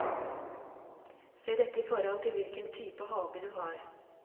Se dette i forhold til hvilken type hage du har.